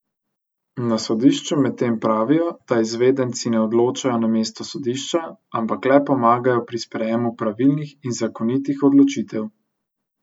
Na sodišču medtem pravijo, da izvedenci ne odločajo namesto sodišča, ampak le pomagajo pri sprejemu pravilnih in zakonitih odločitev.